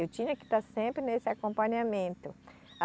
Eu tinha que estar sempre nesse acompanhamento.